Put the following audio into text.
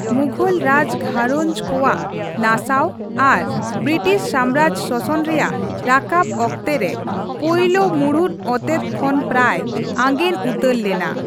ᱢᱩᱜᱷᱚᱞ ᱨᱟᱡᱽ ᱜᱷᱟᱨᱚᱸᱡ ᱠᱚᱣᱟᱜ ᱱᱟᱥᱟᱣ ᱟᱨ ᱵᱨᱤᱴᱤᱥ ᱥᱟᱢᱨᱟᱡᱽ ᱥᱚᱥᱚᱱ ᱨᱮᱭᱟᱜ ᱨᱟᱠᱟᱵ ᱚᱠᱛᱮ ᱨᱮ, ᱯᱳᱭᱞᱳ ᱢᱩᱬᱩᱫ ᱚᱛᱮᱫ ᱠᱷᱚᱱ ᱯᱨᱟᱭ ᱟᱸᱜᱮᱱ ᱩᱛᱟᱹᱨ ᱞᱮᱱᱟ ᱾